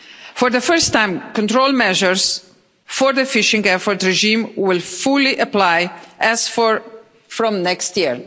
For the first time, control measures for the fishing effort regime will fully apply as from next year,